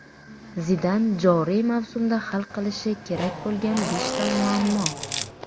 Zidan joriy mavsumda hal qilishi kerak bo‘lgan beshta muammo !